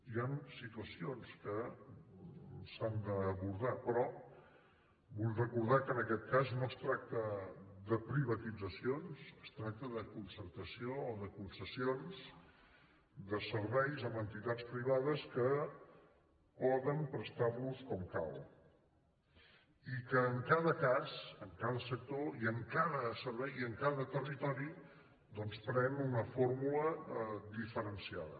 hi han situacions que s’han d’abordar però vull recordar que en aquest cas no es tracta de privatitzacions es tracta de concertació o de concessions de serveis amb entitats privades que poden prestar los com cal i que en cada cas en cada sector i en cada servei i en cada territori doncs pren una fórmula diferenciada